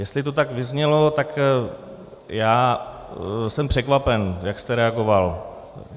Jestli to tak vyznělo, tak já jsem překvapen, jak jste reagoval.